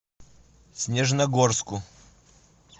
снежногорску